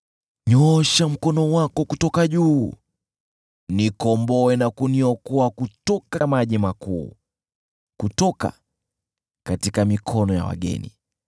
Nyoosha mkono wako kutoka juu, nikomboe na kuniokoa kutoka maji makuu, kutoka mikononi mwa wageni